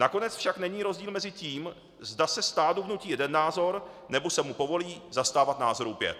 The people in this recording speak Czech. Nakonec však není rozdíl mezi tím, zda se stádu vnutí jeden názor, nebo se mu povolí zastávat názorů pět.